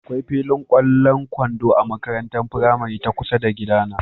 Akwai filin ƙwallon kwando a makarantar firamari ta kusa da gidana.